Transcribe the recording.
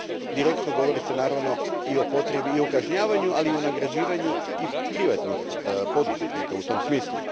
Direktno govori se naravno i o potrebi i o kažnjavanju, ali i o nagrađivanju i privatnih poduzetnika u tom smislu.